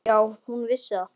Já, hún vissi það.